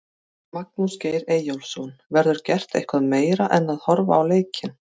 Magnús Geir Eyjólfsson: Verður gert eitthvað meira en horfa á leikinn?